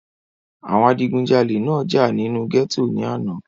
àwọn adigúnjalè náà jà nínú gẹ́tò ní àná